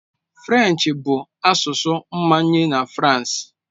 French bụ asụsụ mmanye na France.